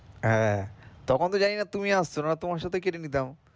হ্যাঁ, তখন তো জানিনা তুমি আসছো, না হলে তোমার সাথে কেটে নিতাম,